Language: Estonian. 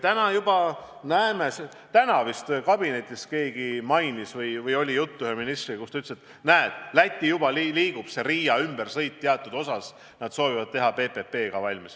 Täna vist keegi kabinetis mainis või üks minister ütles, et näed, Läti juba liigub, Riia ümbersõit soovitakse teatud osas teha valmis PPP-ga.